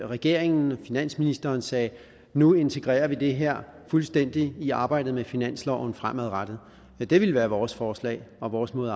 regeringen og finansministeren sagde nu integrerer vi det her fuldstændig i arbejdet med finansloven fremadrettet det ville være vores forslag og vores måde